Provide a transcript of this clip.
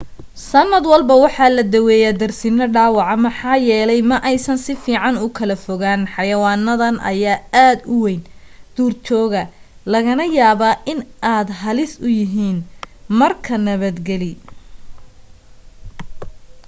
sanad walba waxaa la daweeya darsino dhaawaca maxaa yeelay ma aysan sifiican ukala fogaan xayawaanadan ayaa aad u weyn duur jooga lagana yaaba in ay aad halis u yihiin marka nabad gali